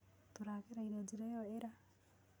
Tũragereĩre njĩra ĩyo ĩra